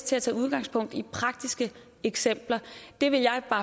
tages udgangspunkt i praktiske eksempler det vil jeg